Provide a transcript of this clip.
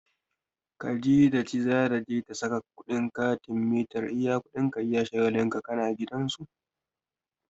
Khadija ta ce za ta je ta sa kuɗin katin mitar iya kuɗin ka iya shagalin ka na gidan su.